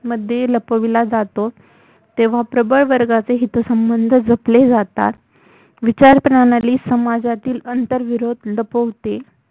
मध्ये लपविला जातो तेव्हा प्रबळ वर्गाचे हितसंबंध जपले जातात विचारप्रणाली समाजातील आंतरविरोध लपविते